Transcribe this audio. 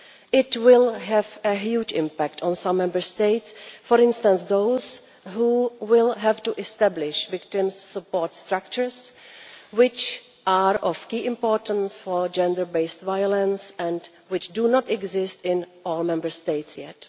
This will have a huge impact on some Member States, for instance those which will have to establish victim support structures, which are of key importance for gender based violence and which do not exist in all Member States yet.